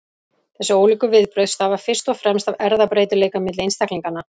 Þessi ólíku viðbrögð stafa fyrst og fremst af erfðabreytileika milli einstaklinganna.